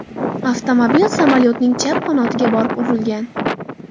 Avtomobil samolyotning chap qanotiga borib urilgan.